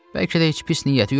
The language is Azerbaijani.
Bəlkə də heç pis niyyəti yoxdur.